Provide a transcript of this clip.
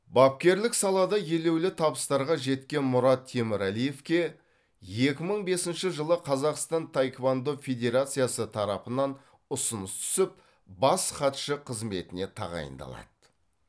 бапкерлік салада елеулі табыстарға жеткен мұрат темірәлиевке екі мың бесінші жылы қазақстан таеквондо федерациясы тарапынан ұсыныс түсіп бас хатшы қызметіне тағайындалады